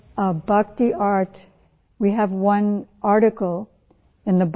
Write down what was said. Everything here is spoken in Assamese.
ইয়াৰ প্ৰতি আপোনাৰ আকৰ্ষণ মহান